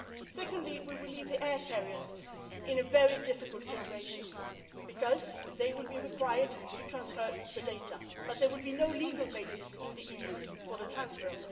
data. Secondly, we would leave the air carriers in a very difficult situation because they will be required to transfer the data, but there would be no legal basis in the EU for this transfer.